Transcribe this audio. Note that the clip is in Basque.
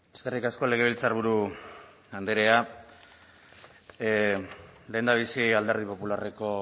eskerrik asko legebiltzarburu andrea lehendabizi alderdi popularreko